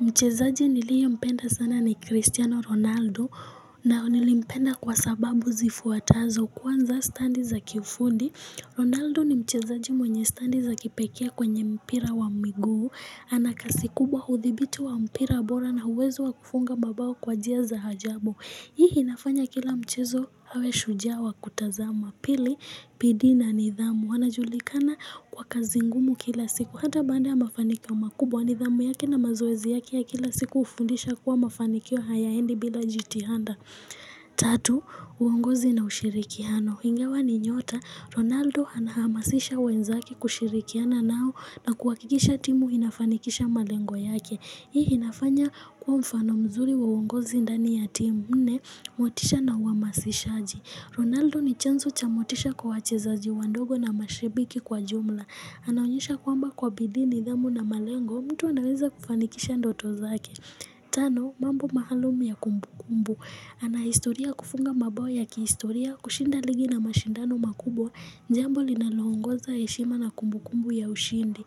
Mchezaji niliye mpenda sana ni Cristiano Ronaldo na nilipenda kwa sababu zifuatazo kwanza standi za kifundi Ronaldo ni mchezaji mwenye standi za kipekea kwenye mpira wa miguu Anakasi kubwa hudhibitu wa mpira bora na uwezo wa kufunga mabao kwa njia za hajabu Hii inafanya kila mchezo hawe shujaa wa kutazama pili bidii na nidhamu anajulikana kwa kazi ngumu kila siku Hata baada ya mafanikio makubwa ni dhamu yake na mazoezi yake ya kila siku ufundisha kuwa mafanikio hayaendi bila jitihanda Tatu, uongozi na ushirikiano Hingawa ni nyota, Ronaldo anahamasisha wenzake kushirikiana nao na kuakikisha timu inafanikisha malengo yake Hii inafanya kuwa mfano mzuri wa uongozi ndani ya timu Nne, motisha na uamasishaji Ronaldo ni chanzo chamotisha kwa wachezaji wandogo na mashibiki kwa jumla. Anaonyesha kwamba kwa bidii nidhamu na malengo, mtu anaweza kufanikisha ndoto zake. Tano, mambo maalumu ya kumbu kumbu. Anahistoria yakufunga mabao ya kihistoria, kushinda ligi na mashindano makubwa, jambo linalongoza heshima na kumbu kumbu ya ushindi.